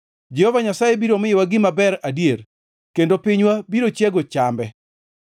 Jehova Nyasaye biro miyowa gima ber adier kendo pinywa biro chiego chambe.